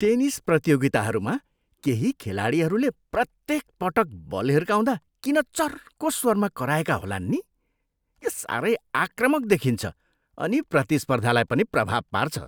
Tennis प्रतियोगिताहरूमा केही खेलाडीहरूले प्रत्येक पटक बल हिर्काउँदा किन चर्को स्वरमा कराएका होलान् नि? यो साह्रै आक्रामक देखिन्छ अनि प्रतिस्पर्धालाई पनि प्रभाव पार्छ।